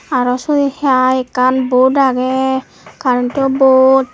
arw se hai ekkan bot agey karentow bot.